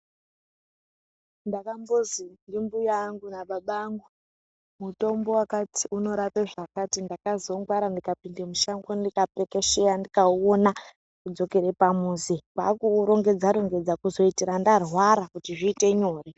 Ndakambozi ndimbuya angu nababa angu mutombo wakati unorapa zvakati ndakazongwarawo ndikapinda mushango ndikapekesheya ndikauona ndikadzokera pamuzi kwakuurongedza -rongedza kuitira ndarwara zvozoita nyore.